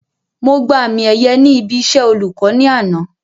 Mo gba àmì ẹ̀yẹ ní ibi iṣẹ́ olùkọ́ ní àná